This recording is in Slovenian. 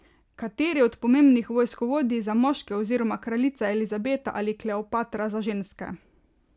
Kateri od pomembnih vojskovodij za moške oziroma kraljica Elizabeta ali Kleopatra za ženske?